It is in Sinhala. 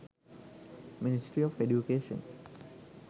ministry of education